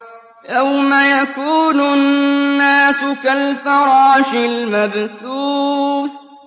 يَوْمَ يَكُونُ النَّاسُ كَالْفَرَاشِ الْمَبْثُوثِ